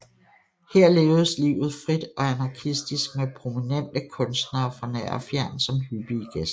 Her levedes livet frit og anarkistisk med prominente kunstnere fra nær og fjern som hyppige gæster